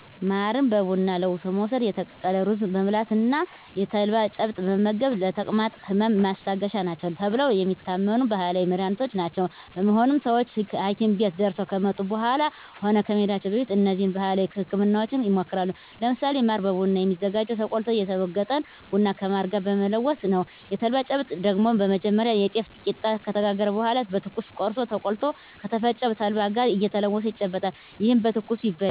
ማርን በቡና ለውሶ መውስድ፣ የተቀቀለ ሩዝ መብላት እና የተልባ ጭብጥ መመገብ ለተቅማጥ ህመም ማስታገሻ ናቸው ተብለው የሚታመኑ ባህላዊ መድሀኒቶች ናቸው። በመሆኑም ሰወች ሀኪም ቤት ደርሰው ከመጡ በኃላም ሆነ ከመሄዳቸው በፊት እነዚህን ባህላዊ ህክምናወች ይሞክራሉ። ለምሳሌ ማር በቡና የሚዘጋጀው ተቆልቶ የተወገጠን ቡና ከማር ጋር በመለወስ ነው። የተልባ ጭብጥ ደግሞ በመጀመሪያ የጤፍ ቂጣ ከተጋገረ በኃላ በትኩሱ ቆርሶ ተቆልቶ ከተፈጨ ተልባ ጋር እየተለወሰ ይጨበጣል። ይህም በትኩሱ ይበላል።